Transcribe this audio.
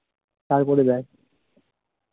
তারপরে যায়